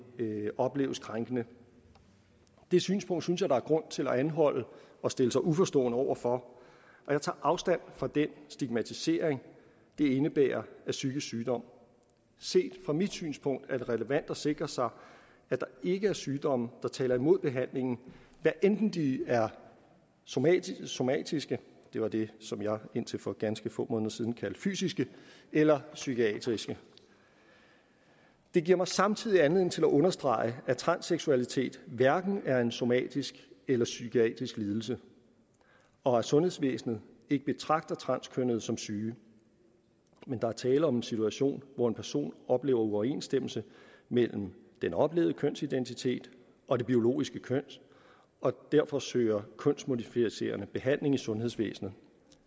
opleves krænkende det synspunkt synes jeg der er grund til at anholde og stille sig uforstående over for og jeg tager afstand fra den stigmatisering det indebærer af psykisk sygdom set fra mit synspunkt er det relevant at sikre sig at der ikke er sygdomme der taler imod behandlingen hvad enten de er somatiske somatiske det var det som jeg indtil for ganske få måneder siden kaldte fysiske eller psykiske det giver mig samtidig anledning til at understrege at transseksualitet hverken er en somatisk eller psykisk lidelse og at sundhedsvæsenet ikke betragter transkønnede som syge men der er tale om en situation hvor en person oplever uoverensstemmelse mellem den oplevede kønsidentitet og det biologiske køn og derfor søger kønsmodificerende behandling i sundhedsvæsenet